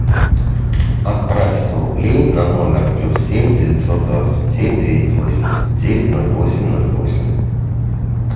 отправь сто рублей на номер плюс семь девятьсот двадцать семь двести восемьдесят девять ноль восемь ноль восемь